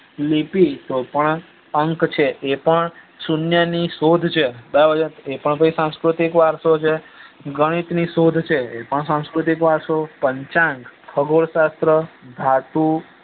લીપી પણ અંક છે એ પણ સુન્ય ની શોધ છે બરાબર છે એ પણ સાંસ્કૃતિક વારસો છ ગણિત ની શોધ છે એ પણ સાંસ્કૃતિક વારસો પચ ખગોળ શાસ્ત્ર ધાતુ